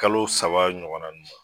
Kalo saba ɲɔgɔnna nunnu ma.